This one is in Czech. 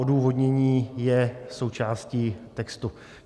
Odůvodnění je součástí textu.